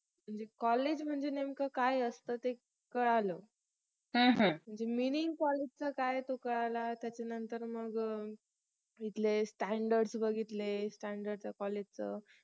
college म्हणजे नेमकं काय असत ते कळालं meaning college चा काय ये तो कळाला त्याच्या नंतर मग तिथले standard बघितले standard त्या college च